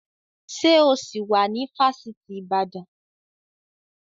Ṣé o sì wá ní Fásitì Ìbàdàn?